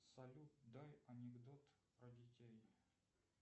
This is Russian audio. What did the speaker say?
салют дай анекдот про детей